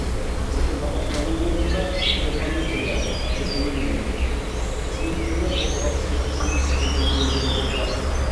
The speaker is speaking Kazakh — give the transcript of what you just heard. екі тамақтану орнында термометрия жүргізілмеген қызметкерлер қолғапсыз жұмыс істегені белгілі болды